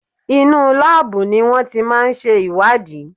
Inú láàbù ni wọ́n ti máà ń ṣe ìwádìí.